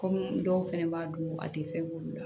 Kɔmi dɔw fɛnɛ b'a dun a tɛ fɛn k'olu la